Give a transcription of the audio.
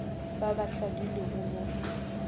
ba ba sa dulego mo